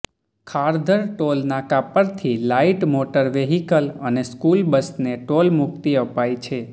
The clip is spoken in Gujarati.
ખારઘર ટોલનાકા પરથી લાઇટ મોટર વેહિકલ અને સ્કૂલ બસને ટોલ મુક્તિ અપાઈ છે